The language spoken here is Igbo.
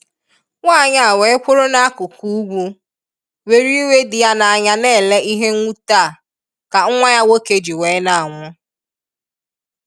Nwanyị a wee kwụrụ na akụkụ ugwu, were iwe dị ya n'anya n'ele ihe nwute a ka nwa ya nwoke ji wee na anwụ.